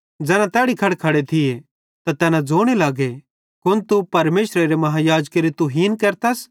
ज़ैना तैड़ी खड़खड़े थिये त तैना ज़ोने लगे कुन तू परमेशरेरे महायाजकेरी तुहीन केरतस